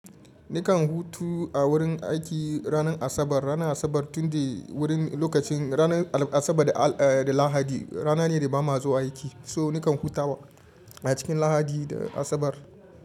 Nikan hutu a wurin aiki ranar Asabar. Ranar Asabar tun dai wurin lokacin ranar Asabar da, eh, da Lahadi rana ne da ba ma zuwa aiki. So nikan hutawa a cikin Lahadi da Asabar.